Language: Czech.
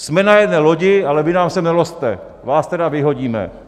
Jsme na jedné lodi, ale vy nám sem nelozte, vás teda vyhodíme.